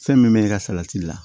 Fɛn min bɛ i ka salati la